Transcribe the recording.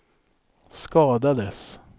skadades